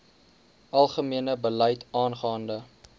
algemene beleid aangaande